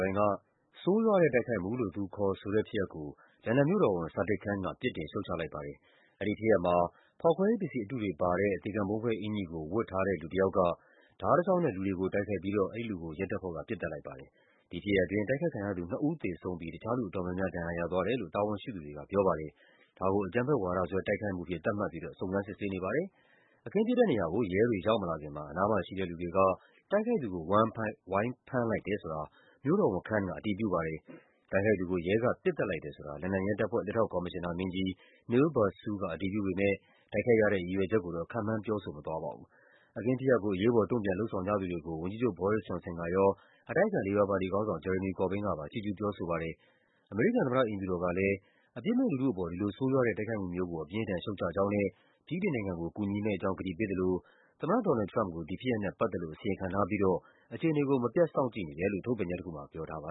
ပိုင်းက ဆိုးရွားတဲ့တိုက်ခိုက်မှုလို့ သူခေါ်ဆိုတဲ့ဖြစ်ရပ်ကို လန်ဒန်မြို့တော် ဝန် Sadiq Khan က ပြစ်တင်ရှုတ်ချလိုက်ပါတယ်။ အဲဒီဖြစ်ရပ်မှာ ဖောက်ခွဲရေးပစ္စည်းအတုတွေပါတဲ့အင်္ကျီကို ဝတ်ထားတဲ့ လူ တယောက်က ဓားတချောင်းနဲ့ လူတွေကို တိုက်ခိုက်ခဲ့ပြီးတော့ အဲဒီလူကို ရဲတပ်ဖွဲ့က ပစ်သတ်လိုက်ပါတယ်။ ဒီဖြစ်ရပ်အတွင်း တိုက်ခိုက်ခံရသူနှစ်ဦး သေဆုံးပြီး တခြားလူအတော်များများ ဒဏ်ရာရသွားတယ်လို့ တာဝန်ရှိသူတွေကပြောပါ တယ်။ ဒါကို အကြမ်းဖက်ဝါဒစွဲ တိုက်ခိုက်မှုအဖြစ် သတ်မှတ်ပြီးတော့ စုံစမ်းစစ်ဆေးနေပါတယ်။ အခင်းဖြစ်တဲ့နေရာကို ရဲတွေရောက်မလာခင်မှာ အနားမှာရှိတဲ့လူတွေက တိုက်ခိုက်သူကို ဝိုင်းဖမ်းလိုက်တယ်ဆိုတာ မြို့တော်ဝန် Khan က အတည်ပြုပါတယ်။ တိုက်ခိုက်သူကို ရဲက ပစ်သတ်လိုက်တယ်ဆိုတာ လန်ဒန်ရဲတပ်ဖွဲ့ လက်ထောက်ကော်မရှင်နာမင်းကြီး Neil Basu အတည်ပြုပေမယ့် တိုက်ခိုက်ရတဲ့ ရည်ရွယ်ချက်ကိုတော့ ခန့်မှန်းပြောဆိုမသွားပါဘူး။ အခင်းဖြစ်ရပ်ကို အရေးပေါ် တုံ့ပြန်လုပ်ဆောင်ကြသူတွေကို ဝန်ကြီးချုပ် Boris Johnson ကရော၊ အတိုက်အခံ လေဘာပါတီ ခေါင်းဆောင် Jeremy Corbyn ကပါ ချီးကျူးပြောဆိုပါတယ်။ အမေရိကန်သမ္မတအိမ်ဖြူတော်ကလည်း အပြစ်မဲ့လူထုအပေါ် ဒီလိုဆိုးရွားတဲ့ တိုက်ခိုက်မှုမျိုးကို အပြင်းအထန် ရှုတ်ချကြောင်းနဲ့ ဗြိတိန်နိုင်ငံကို ကူညီမယ့်အကြောင်း ကတိပေးသလို သမ္မတ ဒေါ်နယ်လ်ဒ် ထရမ့်ပ်ကို ဒီဖြစ်ရပ်နဲ့ပတ်သက်လို့ အစီရင်ခံထားပြီး တော့ အခြေအနေကို မပြတ်စောင့်ကြည့်နေတယ်လို့ ထုတ်ပြန်ချက်တခုမှာ ပြောထားပါ